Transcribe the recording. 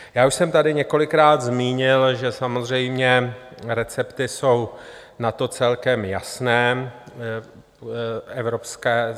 Já už jsem tady několikrát zmínil, že samozřejmě recepty jsou na to celkem jasné.